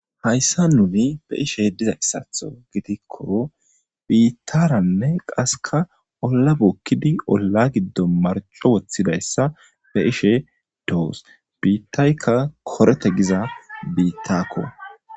Hayssa nuni be ishe diza issaatho gitikko biittaranne qaseka olla bokkidi olla giddo marco woththidayssa be ishe doos biittaykka korete giza biittakko.